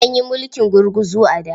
An yi mulkin gurguzu a da.